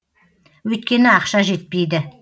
өйткені ақша жетпейді